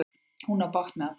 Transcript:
Hún á bágt með að tala.